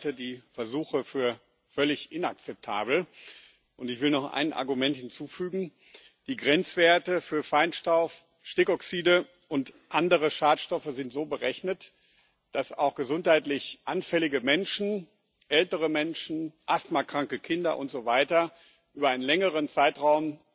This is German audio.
Auch ich halte die Versuche für völlig inakzeptabel, und ich will noch ein Argument hinzufügen Die Grenzwerte für Feinstaub, Stickoxide und andere Schadstoffe sind so berechnet, dass auch gesundheitlich anfällige Menschen ältere Menschen, asthmakranke Kinder und so weiter über einen längeren Zeitraum